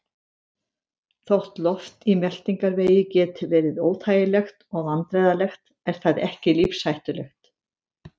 Þótt loft í meltingarvegi geti verið óþægilegt og vandræðalegt er það ekki lífshættulegt.